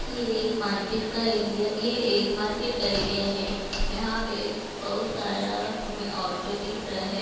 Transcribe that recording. ये एक मार्केट का एरिया ये एक मार्केट का एरिया है यहां पे बहोत सारा हमें ऑटो दिख रहा है।